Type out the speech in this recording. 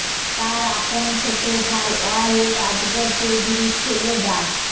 তার আপন ছোট ভাই ওয়াহেদ আজগর চৌধুরীর ছেলে ডা